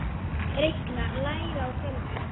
Reikna- læra á tölvur